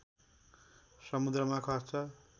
समुद्रमा खस्छ